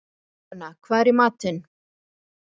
Þórgunna, hvað er í matinn?